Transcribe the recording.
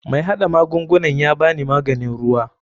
MAi hada magungunan yabani mahganin ruwa.